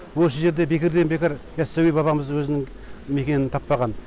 осы жерде бекерден бекер яссауи бабамыз өзінің мекенін таппаған